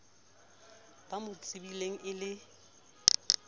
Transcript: ba mo tsebileng e le